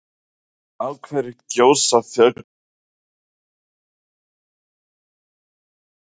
Af hverju gjósa fjöll? og Af hverju eru jöklar og ís á jörðinni?